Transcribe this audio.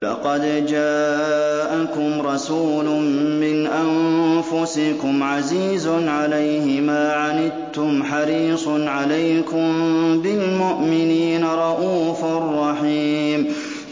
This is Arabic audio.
لَقَدْ جَاءَكُمْ رَسُولٌ مِّنْ أَنفُسِكُمْ عَزِيزٌ عَلَيْهِ مَا عَنِتُّمْ حَرِيصٌ عَلَيْكُم بِالْمُؤْمِنِينَ رَءُوفٌ رَّحِيمٌ